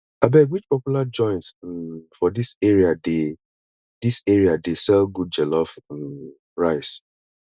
abeg which popular joint um for dis area dey dis area dey sell good jollof um rice